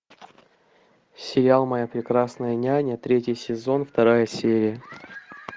сериал моя прекрасная няня третий сезон вторая серия